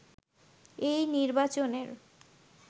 এই নির্বাচনের